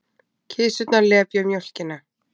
Kisurnar lepja mjólkina.